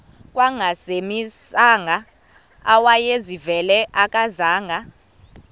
kangangezimanga awayezivile akazanga